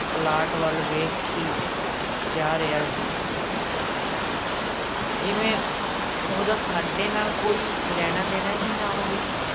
Plot ਵੱਲ ਵੇਖੀ ਜਾ ਰਿਹਾ ਸੀ ਜਿਵੇਂ ਉਹਦਾ ਸਾਡੇ ਨਾਲ ਕੋਈ ਲੈਣਾ-ਦੇਣਾ ਹੀ ਨਾ ਹੋਵੇ।